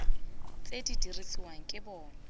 tse di dirisiwang ke bona